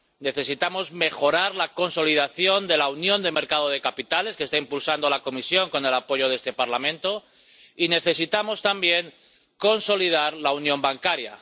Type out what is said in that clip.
Necesitamos mejorar la consolidación de la Unión de Mercados de Capitales —que está impulsando la Comisión con el apoyo de este Parlamento— y necesitamos también consolidar la Unión Bancaria.